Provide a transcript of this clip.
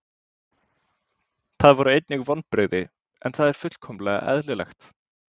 Það voru einnig vonbrigði en það er fullkomlega eðlilegt.